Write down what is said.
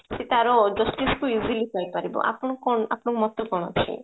ତାର justice ଟା ହେଇପାରିବ ଆପଣଙ୍କୁ କଣ ଆପଣଙ୍କ ମତ କଣ ଅଛି